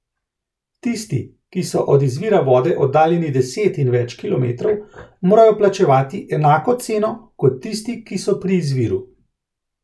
Tisti, ki so od izvira vode oddaljeni deset in več kilometrov, morajo plačevati enako ceno, kot tisti, ki so pri izviru.